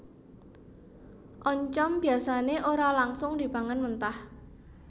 Oncom biasané ora langsung dipangan mentah